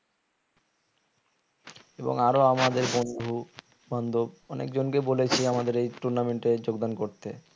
এবং আরো আমাদের বন্ধু বান্ধব অনেকজন কে বলেছি আমাদের এই tournament এ যোগদান করতে